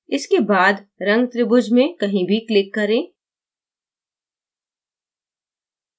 इसके बाद रंग त्रिभुज में कहीं भी click करें